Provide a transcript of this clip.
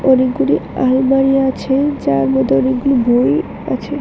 অনেকগুলি আলমারিও আছে যার মধ্যে অনেকগুলি বই আছে।